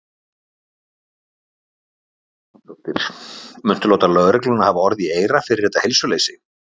Þóra Kristín Ásgeirsdóttir: Muntu láta lögregluna hafa orð í eyra fyrir þetta heilsuleysi?